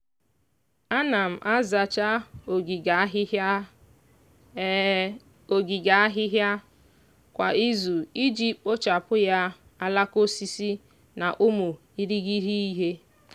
ana m azacha ogige ahịhịa ogige ahịhịa kwa izu iji kpochapụ ya alaka osisi na ụmụ irighiri ihe.